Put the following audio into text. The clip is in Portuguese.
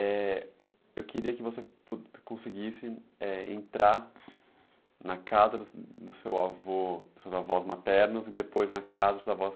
Eh... Eu queria que você conseguisse, eh, entrar na casa do seu avó, dos seus avós maternos e depois na casa dos seus avós